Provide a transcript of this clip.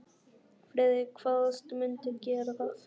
Friðrik kvaðst mundu gera það.